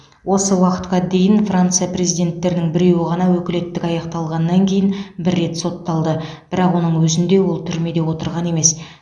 осы уақытқа дейін франция президенттерінің біреуі ғана өкілеттігі аяқталғаннан кейін бір рет сотталды бірақ оның өзінде ол түрмеде отырған емес